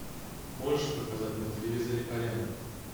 можешь показать на телевизоре арена